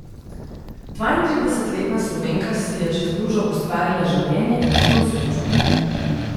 Dvaintridesetletna Slovenka si je čez lužo ustvarila življenje, ki jo osrečuje.